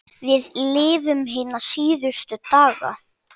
Við lifum hina síðustu daga.